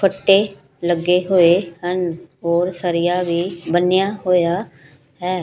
ਫੱਟੇ ਲੱਗੇ ਹੋਏ ਹਨ ਹੋਰ ਸਰੀਆ ਵੀ ਬੰਨਿਆ ਹੋਇਆ ਹੈ।